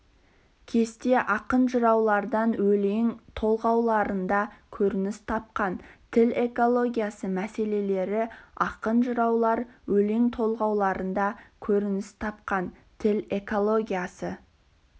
кесте ақын-жыраулар өлең толғауларында көрініс тапқан тіл экологиясы мәселелері ақын-жыраулар өлең толғауларында көрініс тапқан тіл экологиясы